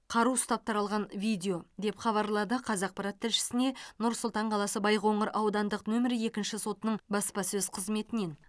қару ұстап таралған видео деп хабарлады қазақпарат тілшісіне нұр сұлтан қаласы байқоңыр аудандық нөмірі екінші сотының баспасөз қызметінен